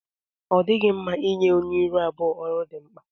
Ọ dịghị mma ịnye onye ịrụ abụọ ọrụ dị mkpa.